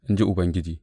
In ji Ubangiji.